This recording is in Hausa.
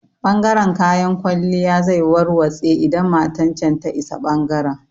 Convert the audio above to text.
Ɓangaren kayan kwalliya zai warwatse idan matan can ta isa ɓangaren